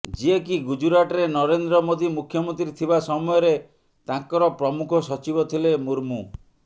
ଯିଏକି ଗୁଜୁରାଟରେ ନରେନ୍ଦ୍ର ମୋଦି ମୁଖ୍ୟମନ୍ତ୍ରୀ ଥିବା ସମୟରେ ତାଙ୍କର ପ୍ରମୁଖ ସଚିବ ଥିଲେ ମୁର୍ମୁ